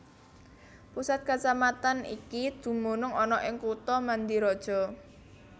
Pusat kacamatan iki dumunung ana ing kutha Mandiraja